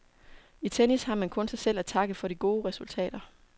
I tennis har man kun sig selv at takke for de gode resultater.